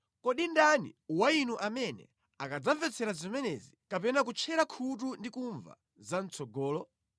Kodi ndani wa inu amene adzamvetsera zimenezi kapena kutchera khutu ndi kumva za mʼtsogolomo?